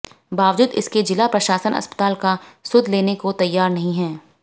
बावजूद इसके जिला प्रशासन अस्पताल का सुध लेने को तैयार नहीं है